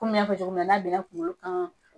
Komi n y'a fɔ cogoya min na n'a benna kungolo kan